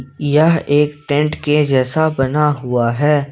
यह एक टेंट के जैसा बना हुआ है।